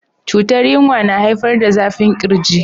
cutar yinwa na haifar da zafin kirji.